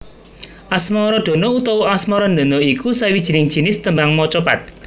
Asmaradana utawa Asmarandana iku sawijining jinis tembang macapat